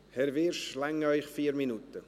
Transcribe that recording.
Herr Wyrsch, reichen Ihnen 4 Minuten?